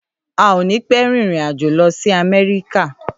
À ò ní pẹ rin ìrínàjò lósì àmẹrìká.